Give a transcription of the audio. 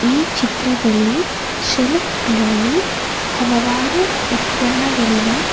ಈ ಚಿತ್ರದಲ್ಲಿ ಸೆಲ್ಫ್ ಗಳಲ್ಲಿ ಹಲವಾರು ಉತ್ಪನ್ನಗಳಿವೆ.